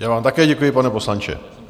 Já vám také děkuji, pane poslanče.